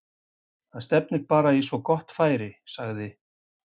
Það stefnir bara í svo gott færi- sagði